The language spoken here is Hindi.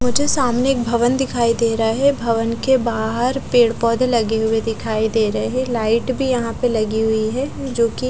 वो जो सामने एक भवन दिखाई दे रहा है भवन के बाहर पेड़ पोधे लगे हुए दिखाई दे रहे है लाइट भी यहा पे लगी हुई है जोकि--